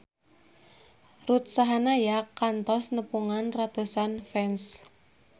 Ruth Sahanaya kantos nepungan ratusan fans